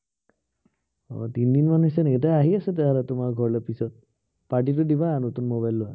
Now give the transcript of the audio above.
আহ তিনদিনমান হৈছে নেকি, তে আহি আছো তেতিয়াহলে তোমাৰ ঘৰলে পিছত, party টো দিবা নতুন mobile লোৱা।